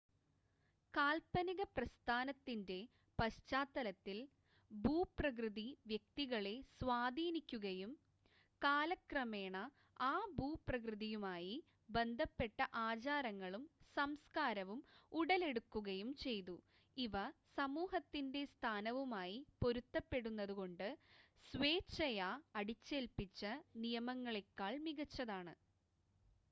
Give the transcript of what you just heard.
കാൽപ്പനിക പ്രസ്ഥാനത്തിൻ്റെ പശ്ചാത്തലത്തിൽ ഭൂപ്രകൃതി വ്യക്തികളെ സ്വാധീനിക്കുകയും കാലക്രമേണ ആ ഭൂപ്രകൃതയുമായി ബന്ധപ്പെട്ട ആചാരങ്ങളും സംസ്‌കാരവും ഉടലെടുക്കുകയും ചെയ്തു ഇവ സമൂഹത്തിൻ്റെ സ്ഥാനവുമായി പൊരുത്തപ്പെടുന്നത് കൊണ്ട് സ്വേച്ഛയാ അടിച്ചേൽപ്പിച്ച നിയമങ്ങളേക്കാൾ മികച്ചതാണ്